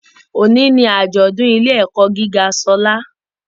Òní ni àjọ̀dún ilé - ẹ̀kọ́ gíga Ṣọlá